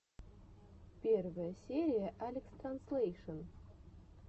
первая серия алекстранслейшен